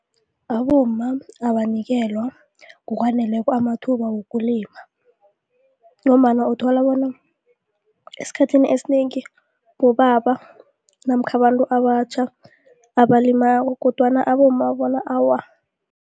Abomma abanikelwa ngokwaneleko amathuba wokulima ngombana uthola bona esikhathini esinengi bobaba namkha abantu abatjha abalimako kodwana abomma bona awa.